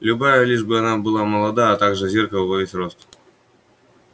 любая лишь бы она была молода а также зеркало во весь рост